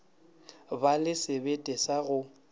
ba le sebete sa go